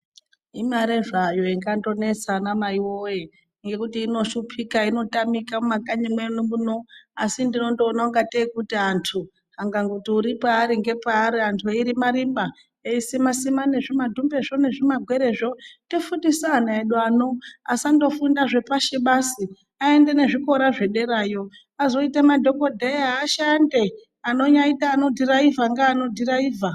Imare zvayo ingandonesa ana Mai woye ngekuti inoshupika inotamika mumakanyi edu muno ngekuti ndinondoona ungatei anthu akangoti uri paari uri paari veirima rima veisima sima nezvimadhumbezvo nezvimagwerezvo tofundisa ana edu ano asandofunda zvepashi basi aende nezvikora zvederayo azoita madhokodheya ashande anonyaita anodhiraivha ngeanodhiraivha.